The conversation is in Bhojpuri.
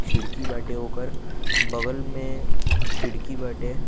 खिड़की बाटे ओकर बगल में खिड़की बाटे।